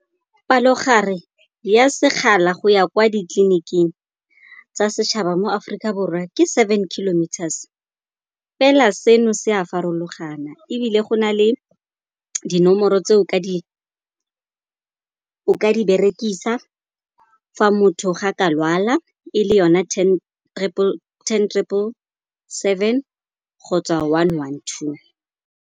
Palo gare ya sekgala go ya kwa ditleliniking tsa setšhaba mo Aforika Borwa ke seven kilometers. Fela se no se a farologana, ebile go na le dinomoro tse o ka di berekisa fa motho ga ka lwala, e le yone ten triple seven kgotsa one one two.